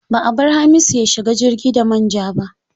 Ba a bar Hamisu ya shiga jirgi da man ja ba.